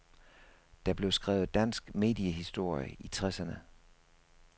Der blev skrevet dansk mediehistorie i tresserne.